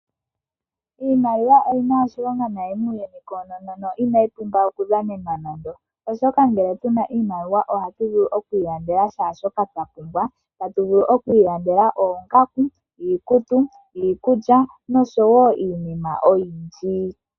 Iimaliwa oyi na oshilonga noonkondo muuyuni auhe koonono na inayi pumbwa okudhanenwa nando, oashoka ngele tu na iimaliwa ohatu vulu okuilandela shaashoka twa pumbwa. Otatu vulu okuilandela oongaku, iikutu, iikulya noshowo iinima oyindji.